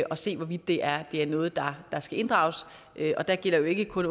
og se hvorvidt det er er noget der skal inddrages og det gælder jo ikke kun